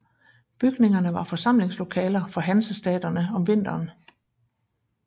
Bygningerne var forsamlingslokaler for hanseaterne om vinteren